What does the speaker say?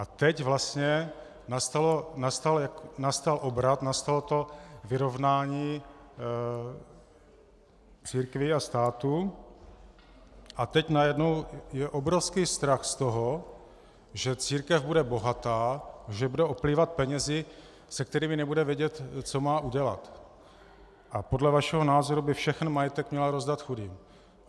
A teď vlastně nastal obrat, nastalo to vyrovnání církví a státu, a teď najednou je obrovský strach z toho, že církev bude bohatá, že bude oplývat penězi, se kterými nebude vědět, co má udělat, a podle vašeho názoru by všechen majetek měla rozdat chudým.